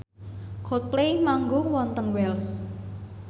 Coldplay manggung wonten Wells